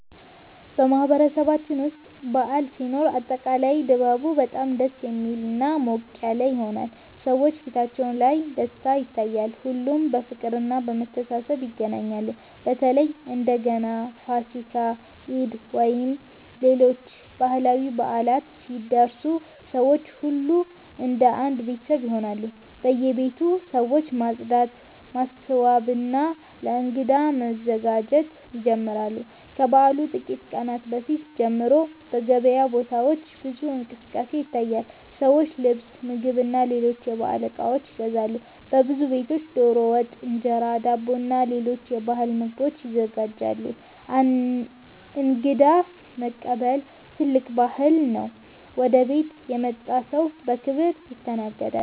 በማህበረሰባችን ውስጥ በዓል ሲኖር አጠቃላይ ድባቡ በጣም ደስ የሚልና ሞቅ ያለ ይሆናል። ሰዎች ፊታቸው ላይ ደስታ ይታያል፣ ሁሉም በፍቅርና በመተሳሰብ ይገናኛሉ። በተለይ እንደ ገና፣ ፋሲካ፣ ኢድ ወይም ሌሎች ባህላዊ በዓላት ሲደርሱ ሰው ሁሉ እንደ አንድ ቤተሰብ ይሆናል። በየቤቱ ሰዎች ማጽዳት፣ ማስዋብና ለእንግዳ መዘጋጀት ይጀምራሉ። ከበዓሉ ጥቂት ቀናት በፊት ጀምሮ በገበያ ቦታዎች ብዙ እንቅስቃሴ ይታያል፤ ሰዎች ልብስ፣ ምግብና ሌሎች የበዓል እቃዎች ይገዛሉ። በብዙ ቤቶች ዶሮ ወጥ፣ እንጀራ፣ ዳቦና ሌሎች የባህል ምግቦች ይዘጋጃሉ። እንግዳ መቀበልም ትልቅ ባህል ነው፤ ወደ ቤት የመጣ ሰው በክብር ይስተናገዳል።